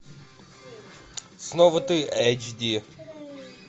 снова ты эйч ди